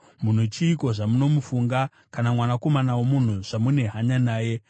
munhu chiiko zvamunomufunga, kana mwanakomana womunhu zvamune hanya naye?